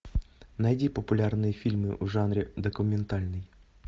найди популярные фильмы в жанре документальный